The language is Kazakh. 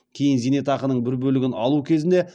кейін зейнетақының бір бөлігін алу кезінде